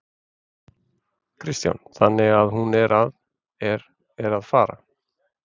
Kristján: Þannig að hún er að, er, er að fara?